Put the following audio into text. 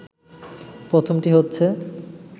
প্রথমটি হচ্ছে